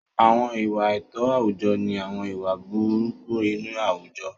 Àwọn ìwà àìtọ́ àwùjọ ni àwọn ìwà burúkú inú àwùjọ.